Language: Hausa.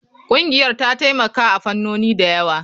Ƙungiyar ta taimaka a fannoni da yawa.